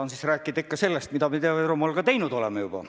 Eks ma saan ikka rääkida sellest, mida me Ida-Virumaal juba teinud oleme.